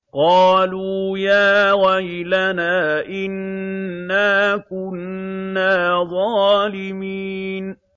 قَالُوا يَا وَيْلَنَا إِنَّا كُنَّا ظَالِمِينَ